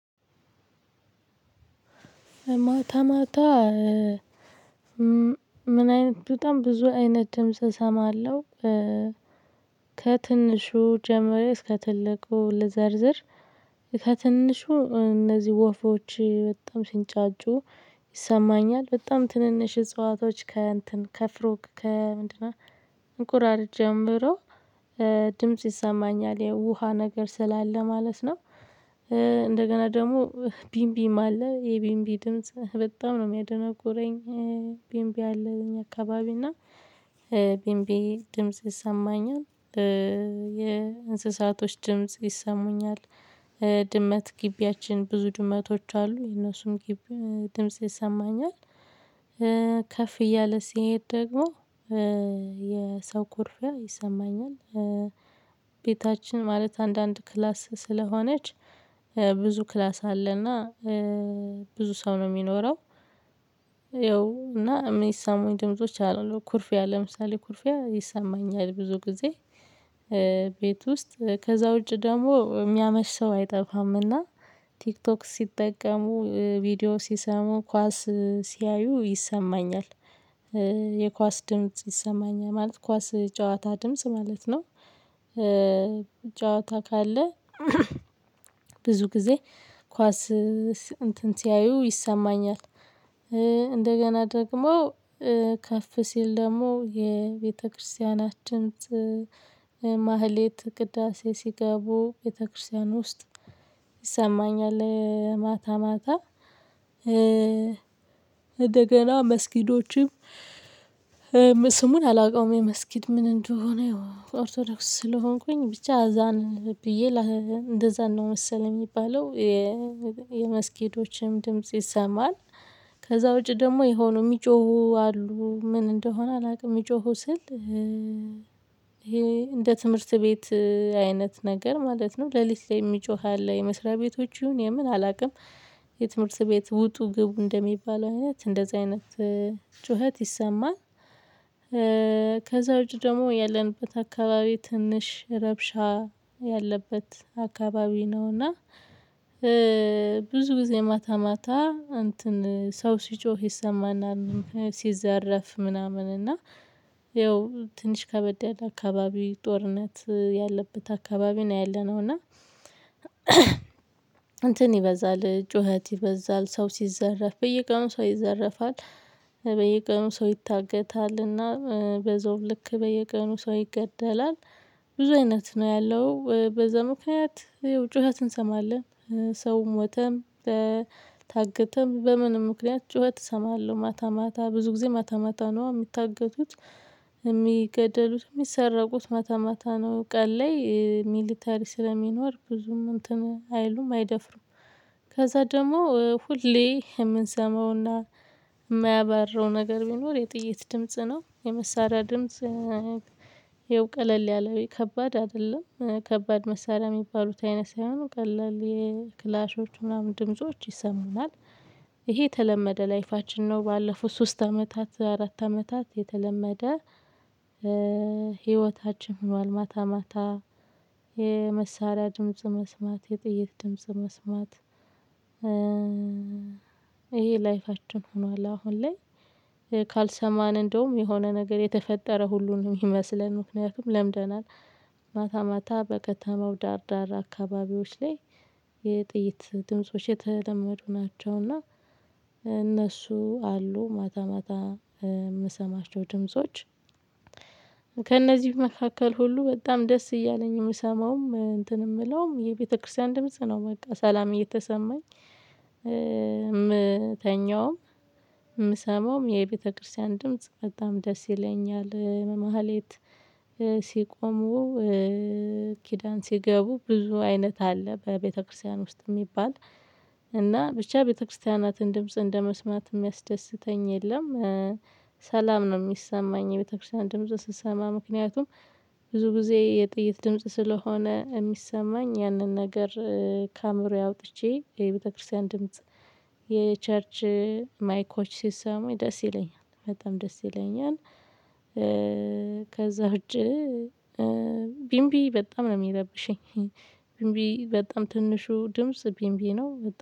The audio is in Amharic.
ማታ ማታ? ምን አይነት በጣም ብዙ አይነት ድምጽ እሰማለሁ። ከትንሹ ጀምሮ እስከ ትልቁ ልዘርዝር። ከትንሹ እነዚህ ወፎች በጣም ሲንጫጩ ይሰማኛል በጣም ትንንሽ እጽዋቶች ከእንትን ከፍሮክ ከምንድነው እንቁራሪት ጀምሮ። ድምጽ ይሰማኛል ያው ውሃ ነገር ስላለ ማለት ነው። እንደገና ደግሞ ቢምቢም አለ የቢምቢ ድምጽ በጣም ነው የሚያደነቁረኝ። ቢምቢ አለ በእኛ አካባቢ እና። ቢንቢ ድምጽ ይሰማኛል። የእንስሳቶች ድምጽ ይሰሙኛል። ድመት ግቢያችን ብዙ ድመቶች አሉ የነሱም ግቢ ድምጽ ይሰማኛል። ከፍ እያለ ሲሄድ ደግሞ የሰው ኩርፊያ ይሰማኛል። ቤታችን ማለት አንዳንድ ክላስ ስለሆነች። ብዙ ክላስ አለና ብዙ ሰው ነው ሚኖረው። ያው እና ሚሰሙኝ ድምጾች አሉ ኩርፊያ ለምሳሌ ኩርፊያ ይሰማኛል ብዙ ጊዜ። ቤት ውስጥ ከዛ ውጪ ደግሞ ሚያመሽ ሰው አይጠፋም። እና ቲክቶክ ሲጠቀሙ ቪዲዮ ሲሰሙ ኳስ ሲያዩ ይሰማኛል። የኳስ ድምጽ ይሰማኛል ማለት ኳስ ጨዋታ ድምጽ ማለት ነው። ጨዋታ ካለ ብዙ ጊዜ ኳስ እንትን ሲያዩ ይሰማኛል። እንደገና ደግሞ ከፍ ሲል ደግሞ የቤተክርስቲያናችን ድምጽ ማህሌት ቅዳሴ ሲገቡ ቤተክርስቲያን ውስጥ ይሰማኛል። ማታ ማታ። እንደገና መስጊዶችም ስሙን አላውቀውም መስጊድ ምን እንደሆነ ኦርቶዶክስ ስለሆንኩኝ ብቻ አዛን ብዬ እንደዛን ነው መሰለኝ የሚባለው። የመስጊዶችም ድምጽ ይሰማል። ከዛ ውጪ ደግሞ የሆኑ ሚጮሁ አሉ ምን እንደሆነ አላቅም ሚጮሁ ስል። እንደ ትምህርት ቤት አይነት ነገር ማለት ነው ለሊት ላይ ሚጮህ ያለ የመስሪያ ቤቶች ይሁን የምን አላቅም። የትምህርት ቤት ውጡ ግቡ እንደሚባለው አይነት እንደዛ አይነት ጩኸት ይሰማል። ከዛ ውጪ ደግሞ ያለንበት አካባቢ ትንሽ ረብሻ ያለበት አካባቢ ነው። እና ብዙ ጊዜ ማታ ማታ እንትን ሰው ሲጮህ ይሰማናል። ሲዘረፍ ምናምን እና ይኸው ትንሽ ከበድ ያለ አካባቢ ጦርነት ያለበት አካባቢ ነው። ያለነው እና እንትን ይበዛል ጩኸት ይበዛል ሰው ሲዘረፍ በየቀኑ ሰው ይዘረፋል። በየቀኑ ሰው ይታገታልና። በዛውም ልክ በየቀኑ ሰው ይገደላል። ብዙ አይነት ነው ያለው በዛ ምክንያት ጩኸት እንሰማለን። ሰውም ሞተም። ታገተም በምንም ምክንያት ጩኸት እሰማለሁ ማታ ማታ ብዙ ጊዜ ማታ ማታ ነው የሚታገቱት። ሚገደሉት ሚሰረቁት ማታ ማታ ነው ቀን ላይ ሚሊተሪ ስለሚኖር ብዙም እንትን አይሉም አይደፍሩም። ከዛ ደግሞ ሁሌ የምንሰማውና ማያባራው ነገር ቢኖር የጥይት ድምጽ ነው የመሳሪያ ድምጽ። ያው ቀለል ያለው ከባድ አይደለም ከባድ መሳሪያ የሚባሉት አይነት ሳይሆኑ ቀለል የክላሾች ምናምን ድምጾች ይሰሙናል። ይሄ የተለመደ ላይፋችን ነው። ባለፉት ሶስት አመታት አራት አመታት የተለመደ ህይወታችን ሆኗል። ማታ ማታ የመሳሪያ ድምጽ መስማት የጥይት ድምጽ መስማት። ይሄ ላይፋችን ሆኗል አሁን ላይ ካልሰማን እንደውም የሆነ ነገር የተፈጠረ ሁሉ ነይመስለን ምክንያቱም ለምደናል። ማታ ማታ በከተማው ዳር ዳር አካባቢዎች ላይ የጥይት ድምጾች የተለመዱ ናቸው። እና እነሱ አሉ ማታ ማታ ምሰማቸው ድምጾች። ከእነዚህ መካከል ሁሉ በጣም ደስ እያለኝ ምሰማውም እንትን ምለውም የቤተክርስቲያን ድምጽ ነው በቃ ሰላም እየተሰማኝ። ምተኛውም ምሰማውም የቤተክርስቲያን ድምጽ በጣም ደስ ይለኛል። መሃሌት ሲቆሙ ኪዳን ሲገቡ ብዙ አይነት አለ በቤተክርስቲያን ውስጥ ሚባል እና ብቻ ቤተክርስቲያናትን ድምጽ እንደመስማት የሚያስደስተኝ የለም። ሰላም ነው ሚሰማኝ የቤተክርስቲያን ድምጽ ስትሰማ ምክንያቱም ብዙ ጊዜ የጥይት ድምጽ ስለሆነ ሚሰማኝ ያንን ነገር ከአእምሮዬ አውጥቼ የቤተክርስቲያን ድምጽ የቸርች ማይኮች ሲሰሙኝ ደስ ይለኛል በጣም ደስ ይለኛል። ከዛ ውጪ ቢምቢ በጣም ነው የሚረብሸኝ። ቢምቢ በጣም ትንሹ ድምጽ ቢምቢ ነው